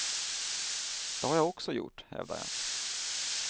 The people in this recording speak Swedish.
Det har jag också gjort, hävdar jag.